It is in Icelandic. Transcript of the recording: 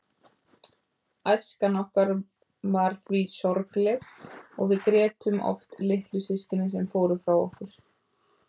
Æskan okkar var því sorgleg og við grétum oft litlu systkinin sem fóru frá okkur.